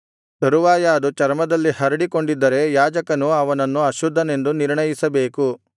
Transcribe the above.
ತರುವಾಯ ಅದು ಚರ್ಮದಲ್ಲಿ ಹರಡಿಕೊಂಡಿದ್ದರೆ ಯಾಜಕನು ಅವನನ್ನು ಅಶುದ್ಧನೆಂದು ನಿರ್ಣಯಿಸಬೇಕು ಅದು ಕುಷ್ಠರೋಗವೇ